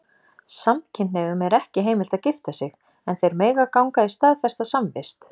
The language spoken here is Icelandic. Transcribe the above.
Samkynhneigðum er ekki heimilt að gifta sig, en þeir mega ganga í staðfesta samvist.